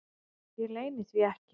Ég leyni því ekki.